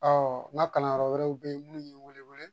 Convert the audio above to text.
n ka kalanyɔrɔ wɛrɛw bɛ yen minnu ye n wele wele